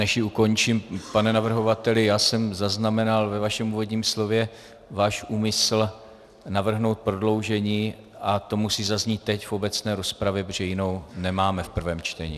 Než ji ukončím, pane navrhovateli, já jsem zaznamenal ve vašem úvodním slově váš úmysl navrhnout prodloužení a to musí zaznít teď v obecné rozpravě, protože jinou nemáme v prvém čtení.